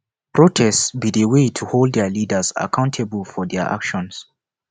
protest be di way to hold dia leaders accountable for dia actions